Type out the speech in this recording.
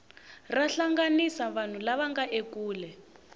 ra hlanganisa vanhu lava nga ekule